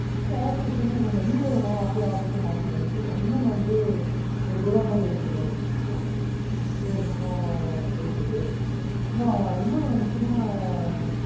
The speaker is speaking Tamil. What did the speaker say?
இல்ல office தனியா இல்லம்மா, வீட அப்டியே office ஆ மாத்தி பண்ணிட்டுருக்கோம். இன்னொன்னு வந்து ஒரு godown மாதிரி எடுத்துருக்கோன்னு வச்சுக்கோங்களன், ஒரு நல்ல போயிட்ருக்கு, அப்புறம் இன்னொன்னு முக்கியமான